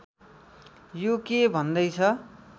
यो के भन्दै छ